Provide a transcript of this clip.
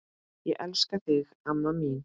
Ég elska þig, amma mín.